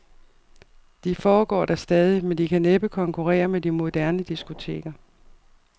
De foregår da stadig, men de kan næppe konkurrere med de moderne diskoteker.